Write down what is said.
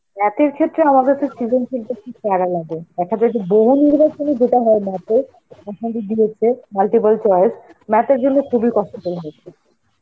math এর ক্ষেত্রে আমাদের সৃজনশীলতা . একটা বেশ বহু যেটা হয় Math এর, দিয়েছে, multiple choice, math এর জন্য খুবই কষ্টদায়